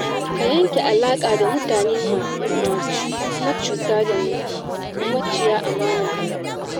Ka yanke alaƙa da mutane macuta da maciya amana a rayuwa.